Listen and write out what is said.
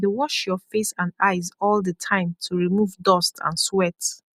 dey wash your face and eyes all the time to remov dust and sweat